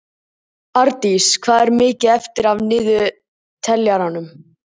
Árdís, hvað er mikið eftir af niðurteljaranum?